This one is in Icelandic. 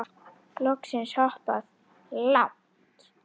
Loksins hoppað. langt!